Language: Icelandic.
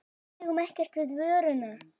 Við eigum ekkert við vöruna.